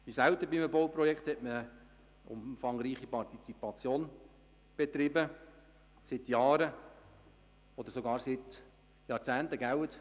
Wie selten bei einem Bauprojekt hat man eine umfangreiche Partizipation betrieben – seit Jahren oder sogar seit Jahrzehnten, nicht wahr